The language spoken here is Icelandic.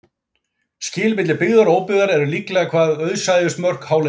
Skil milli byggðar og óbyggðar eru líklega hvað auðsæjust mörk hálendisins.